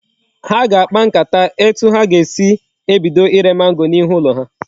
Ha ga akpa nkata etu ha ga esi ebido ire mango na ihu ulo ha